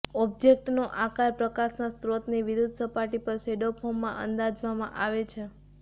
ઑબ્જેક્ટનો આકાર પ્રકાશના સ્ત્રોતની વિરુદ્ધ સપાટી પર શેડો ફોર્મમાં અંદાજવામાં આવે છે